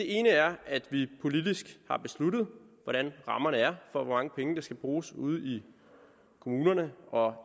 ene er at vi politisk har besluttet hvordan rammerne er for hvor mange penge der skal bruges ude i kommunerne og